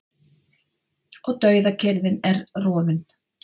Og dauðakyrrðin er rofin.